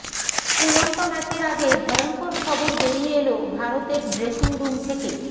শ্রীলঙ্কা ম্যাচের আগে ভয়ঙ্কর খবর বেরিয়ে এল ভারতের ড্রেসিং রুম থেকে